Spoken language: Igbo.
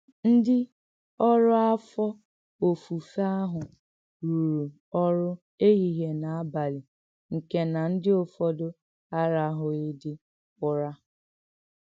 Ǹdí ọ̀rụ́ áfọ́-òfùfé àhụ̀ rùrù òrụ́ èhìhíè nà-àbálị nke nà ǹdí ọ̀fọ́dù aràhụ̀ghịdị ùrá.